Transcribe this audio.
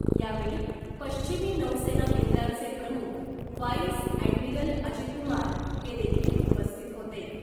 यावेळी पश्चिमी नौसेना केंद्रांचे प्रमुख वाईस ॲडमिरल अजीतकुमार हे देखील उपस्थित होते .